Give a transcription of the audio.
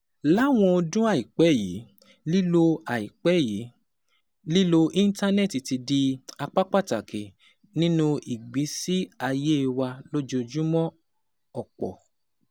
Láwọn ọdún àìpẹ́ yìí, lílo àìpẹ́ yìí, lílo Íńtánẹ́ẹ̀tì ti di apá pàtàkì nínú ìgbésí ayé wa lójoojúmọ́, ọ̀pọ̀